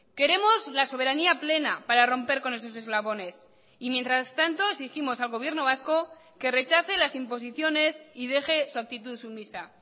queremos la soberanía plena para romper con esos eslabones y mientras tanto exigimos al gobierno vasco que rechace las imposiciones y deje su actitud sumisa